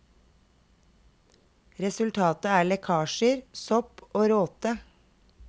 Resultatet er lekkasjer, sopp og råte.